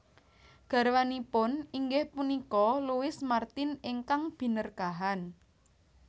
Garwanipun inggih punika Louis Martin ingkang Binerkahan